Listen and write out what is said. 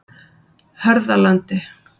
Hörðalandi